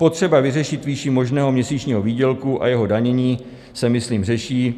Potřeba vyřešit výši možného měsíčního výdělku a jeho zdanění se myslím řeší.